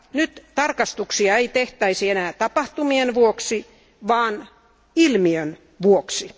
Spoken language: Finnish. Nyt tarkastuksia ei tehtäisi enää tapahtumien vuoksi vaan ilmiön vuoksi.